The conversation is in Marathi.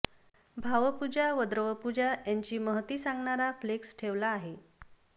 भावपूजा व द्रव्यपूजा यांची महती सांगणारा फ्लेक्स ठेवला आहे